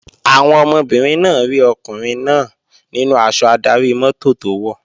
Àwọn ọmọbìnrin náà rí ọkùnrin náà nínú aṣọ adarí-mọ́tò tó wọ̀